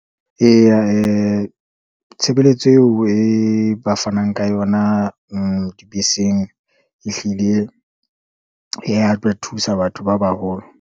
Eya, tshebeletso eo e ba fanang ka yona dibeseng. Ehlile e ya ba thusa batho ba baholo.